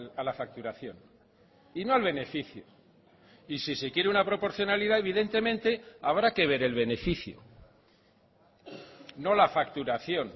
a la facturación y no al beneficio y si se quiere una proporcionalidad evidentemente habrá que ver el beneficio no la facturación